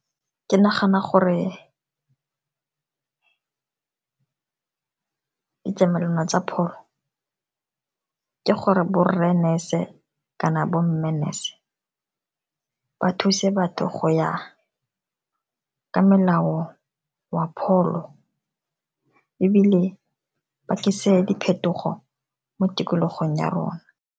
Ke nagana gore ditlamelwana tsa pholo, ke gore borre nurse-e kana bo mme nurse-e, ba thuse batho go ya ka molao wa pholo ebile ba tlise diphetogo mo tikologong ya rona.